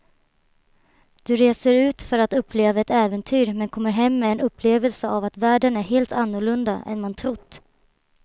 Du reser ut för att uppleva ett äventyr men kommer hem med en upplevelse av att världen är helt annorlunda än man trott.